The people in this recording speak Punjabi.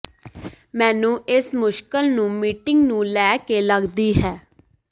ਮੈਨੂੰ ਇਸ ਮੁਸ਼ਕਲ ਨੂੰ ਮੀਟਿੰਗ ਨੂੰ ਲੈ ਕੇ ਲੱਗਦੀ ਹੈ